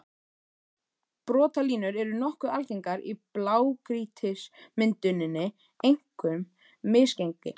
Brotalínur eru nokkuð algengar í blágrýtismynduninni, einkum misgengi.